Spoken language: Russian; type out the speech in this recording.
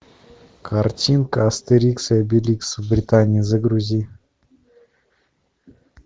картинка астерикс и обеликс в британии загрузи